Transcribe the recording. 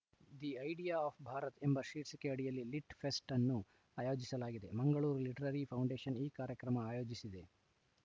the idea of Bharat ಎಂಬ ಶೀರ್ಷಿಕೆ ಅಡಿಯಲ್ಲಿ ಲಿಟ್‌ ಫೆಸ್ಟ್‌ ಅನ್ನು ಆಯೋಜಿಸಲಾಗಿದೆ ಮಂಗಳೂರು ಲಿಟರರಿ ಫೌಂಡೇಶನ್‌ ಈ ಕಾರ್ಯಕ್ರಮ ಆಯೋಜಿಸಿದೆ